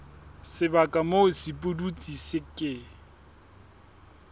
sebaka moo sepudutsi se ke